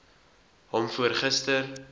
hom voor gister